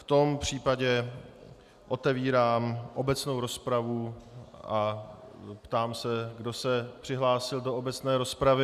V tom případě otevírám obecnou rozpravu a ptám se, kdo se přihlásil do obecné rozpravy.